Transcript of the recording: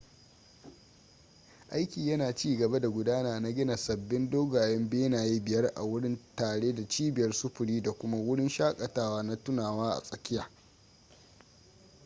aiki yana cigaba da gudana na gina sababbin dogayen benaye biyar a wurin tare da cibiyar sufuri da kuma wurin shaƙatawa na tunawa a tsakiya